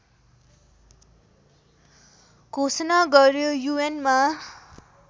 घोषणा गर्यो यूएनमा